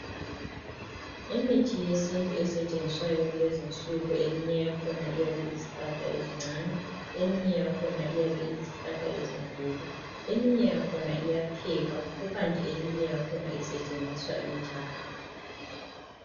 Imithi yesintu esetshenziswayo kulezinsuku eminye iyabe iyizihlahla ezincane eminye yakhona iyizihlahla ezinkulu. Eminye yakhona iyaphekwa kukanti eminye yakhona isetshenziswa injalo.